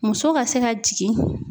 Muso ka se ka jigin